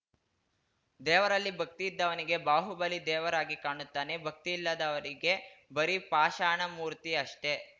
ದೇವರಲ್ಲಿ ಭಕ್ತಿ ಇದ್ದವನಿಗೆ ಬಾಹುಬಲಿ ದೇವರಾಗಿ ಕಾಣುತ್ತಾನೆ ಭಕ್ತಿ ಇಲ್ಲದವನಿಗೆ ಬರಿ ಪಾಷಾಣ ಮೂರ್ತಿ ಅಷ್ಟೆ